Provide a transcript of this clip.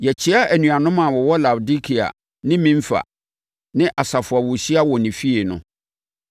Yɛkyea anuanom a wɔwɔ Laodikea ne Nimfa ne asafo a wɔhyia wɔ ne fie no.